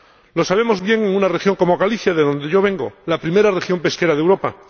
Lo sabemos bien en una región como Galicia, de donde yo vengo, la primera región pesquera de Europa